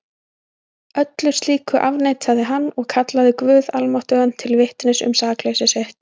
Öllu slíku afneitaði hann og kallaði guð almáttugan til vitnis um sakleysi sitt.